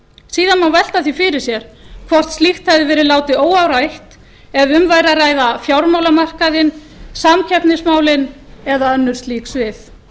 síðan má velta því fyrir sér hvort slíkt hefði verið látið óáreitt ef um væri að ræða fjármálamarkaðinn samkeppnismálin eða önnur slík svið nú